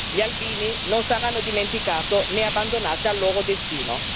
Gli albini non saranno dimenticati né abbandonati al loro destino.